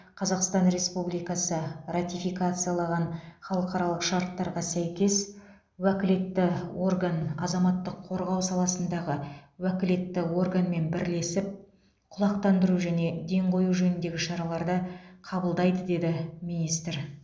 қазақстан республикасы ратификациялаған халықаралық шарттарға сәйкес уәкілетті орган азаматтық қорғау саласындағы уәкілетті органмен бірлесіп құлақтандыру және ден қою жөніндегі шараларды қабылдайды деді министр